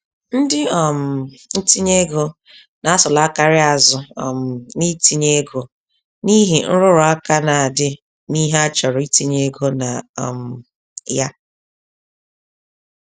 Ndị um ntinyeego na-asụlakarị azụ um n'itinye ego n'ihi nrụrụaka na-adị n'ihe a chọrọ itinye ego na um ya.